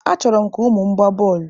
Achọrọ m ka ụmụ m gbaa bọọlụ.